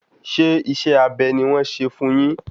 Ṣé isẹ́ abẹ ni wọ́n ṣe fún un yin?